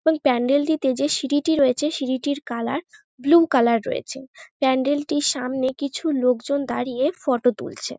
এবং প্যান্ডেল -টিতে যে সিঁড়িটি রয়েছে সিঁড়িটির কালার ব্লু কালার রয়েছে। প্যান্ডেল -টির সামনে কিছু লোকজন দাঁড়িয়ে ফটো তুলছে।